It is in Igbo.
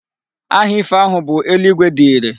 Aha ifo ahu bu eluigwe dị irè.